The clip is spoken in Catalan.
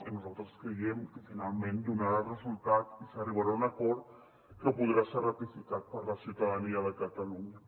i nosaltres creiem que finalment donarà resultat i s’arribarà a un acord que podrà ser ratificat per la ciutadania de catalunya